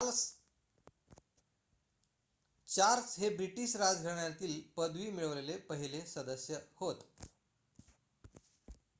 Charles हे British राज्यघराण्यातील पदवी मिळवलेले पहिले सदस्य होत